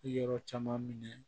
Yɔrɔ caman minɛ